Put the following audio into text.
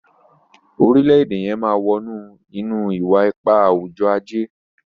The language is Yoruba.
orilẹ-ede yén má wọnú ínú iwa-ipa awujọ-aje